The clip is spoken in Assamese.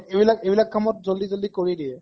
ইবিলাক ইবিলাক কামত জল্দি জল্দি কৰি দিয়ে